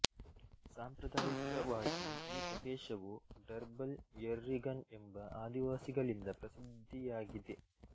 ಸಾಂಪ್ರದಾಯಿಕವಾಗಿ ಈ ಪ್ರದೇಶವು ಡರ್ಬಲ್ ಯೆರ್ರಿಗನ್ ಎಂಬ ಆದಿವಾಸಿಗಳಿಂದ ಪ್ರಸಿದ್ದಿಯಾಗಿದೆ